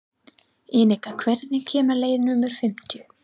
Enika, hvenær kemur leið númer fimmtíu?